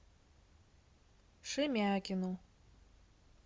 шемякину